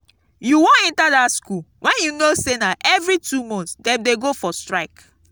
you wan enter dat school wen you know say na every two months dem dey go for strike